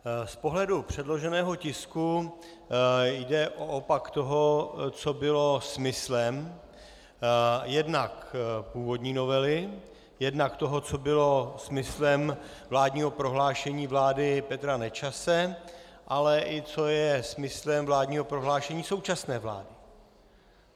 Z pohledu předloženého tisku jde o opak toho, co bylo smyslem jednak původní novely, jednak toho, co bylo smyslem vládního prohlášení vlády Petra Nečase, ale i co je smyslem vládního prohlášení současné vlády.